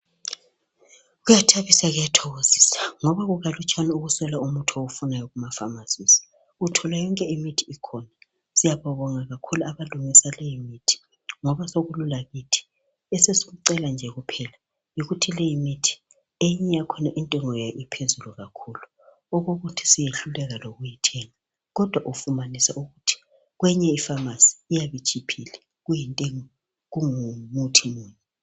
Kuyathabisa kuyathokozisa ngoba kukalutswane uswela umuthi owufunayo kuma pharmacies. Uthola yonke imithi ikhona Siyababonga kakhulu abalungisa leyi mithi ngoba sokulula kithi .Esesikucela nje kuphela yikuthi leyi mithi eminye intengo yayo iphezulu kakhulu okokuthi siyehluleka lokuyithenga kodwa ufumanisa ukuthi kwenye I pharmacy iyabe itshiphile kuyintengo kungumuthi munye